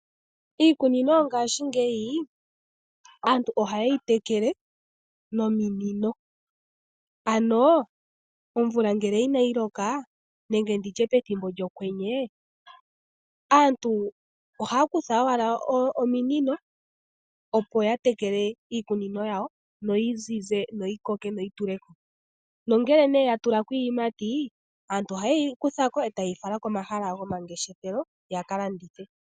Iikunino yongashingeyi, aantu ohaye yi tekele ominino. Ano ngele omvula inayi loka, nenge ndi tye pethimbo lyokwenye, aantu ohaa kutha owala ominino opo ya tekele iikunino yawo, no yi zize yo yi koke noyi tule ko, nongele ya tula ko iiyimati, aantu ohaye yi kutha ko e taye yi fala komahala gomangeshefelo ya ka landithe.